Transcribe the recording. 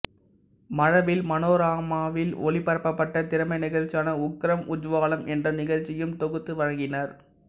மழவில் மனோரமாவில் ஒளிபரப்பப்பட்ட திறமை நிகழ்ச்சியான உக்ரம் உஜ்வாலம் என்ற நிகழ்ச்சியையும் தொகுத்து வழங்கினார்